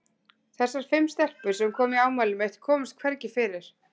Þessar fimm stelpur, sem komu í afmælið mitt, komust hvergi fyrir.